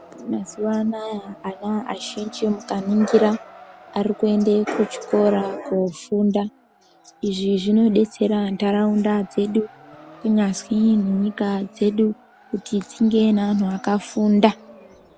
Mazuwa anaya ana azhinji mukaningira arikuende kuchikora koofunda ,izvi zvinodetsera nharaunda dzedu kunyazwi nenyika yedu kuti dzinge nevanhu vakafunda.